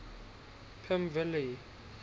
pimvilli